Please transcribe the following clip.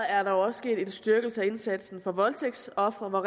er der også sket en styrkelse af indsatsen for voldtægtsofre hvor